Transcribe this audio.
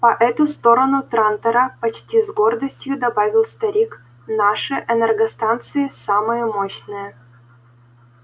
по эту сторону трантора почти с гордостью добавил старик наши энергостанции самые мощные